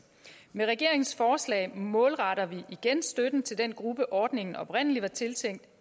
med regeringens forslag målretter vi igen støtten til den gruppe ordningen oprindelig var tiltænkt